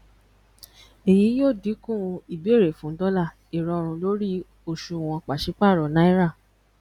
èyí yóò dínkù ìbéèrè fún dọlà ìrọrùn lórí òṣùwòn pàṣípàrọ náírà